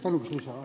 Palun lisaaega!